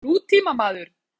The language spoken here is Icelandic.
Var hann nútímamaður?